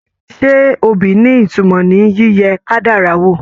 Ṣe obì ni ìtumọ̀ ní yíyẹ kádàrá wò?